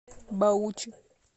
баучи